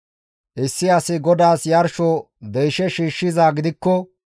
«Issi asi GODAAS yarsho deyshe shiishshizaa gidikko,